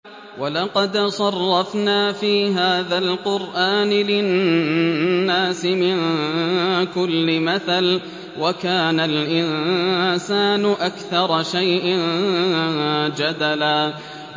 وَلَقَدْ صَرَّفْنَا فِي هَٰذَا الْقُرْآنِ لِلنَّاسِ مِن كُلِّ مَثَلٍ ۚ وَكَانَ الْإِنسَانُ أَكْثَرَ شَيْءٍ جَدَلًا